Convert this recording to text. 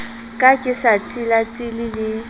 ka ke sa tsilatsile le